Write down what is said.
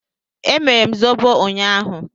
Emere m zobo ụnyaahụ.